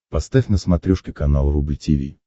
поставь на смотрешке канал рубль ти ви